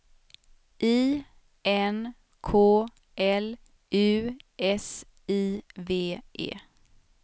I N K L U S I V E